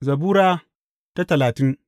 Zabura Sura talatin